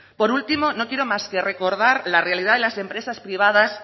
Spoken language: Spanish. por último no quiero más que recordar la realidad de las empresas privadas